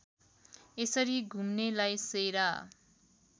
यसरी घुम्नेलाई सेरा